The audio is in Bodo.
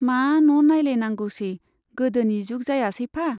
मा न' नाइलायनांगौसै, गोदोनि जुग जायासैफा ?